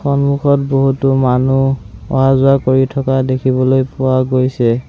সন্মুখত বহুতো মানুহ অহা-যোৱা কৰি থকা দেখিবলৈ পোৱা গৈছে।